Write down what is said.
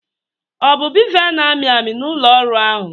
ọ bụ bevel na-amị amị na ụlọ ọrụ ahụ?